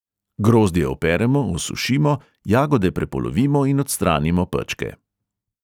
Grozdje operemo, osušimo, jagode prepolovimo in odstranimo pečke.